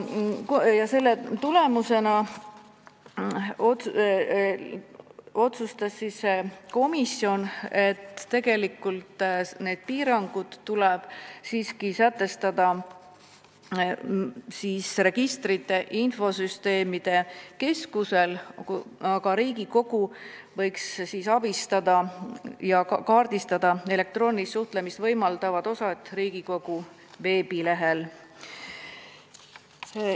Arutelu tulemusena otsustas komisjon, et need piirangud tuleb rakendada Registrite ja Infosüsteemide Keskusel, aga Riigikogu võiks abistada ja kaardistada elektroonilist suhtlemist võimaldavad osad Riigikogu veebilehel.